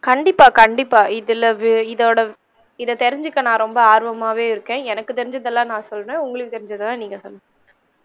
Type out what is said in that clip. கண்டிப்பா கண்டிப்பா இதுல இதோட இத தெரிஞ்சிக்க நான் ரொம்ப ஆர்வமாவே இருக்கேன் எனக்கு தெரிஞ்சதெல்லாம் நான் சொல்றன் உங்களுக்கு தெரிஞ்தெல்லாம் நீங்க சொல்லுங்க.